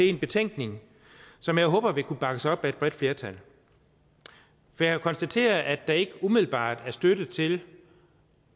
en betænkning som jeg håber vil kunne bakkes op af et bredt flertal for jeg konstaterer at der ikke umiddelbart er støtte til